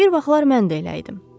Bir vaxtlar mən də elə idim.